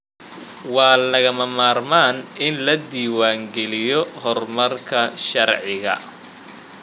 Waa lagama maarmaan in la diiwaan geliyo horumarka sharciga.